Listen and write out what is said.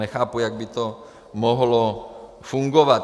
Nechápu, jak by to mohlo fungovat.